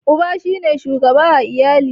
Uba shi ne shugaba a iyali.